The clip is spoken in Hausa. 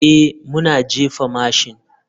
Ee, muna jefa mashin.